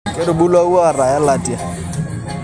Ketubulua wuata elatia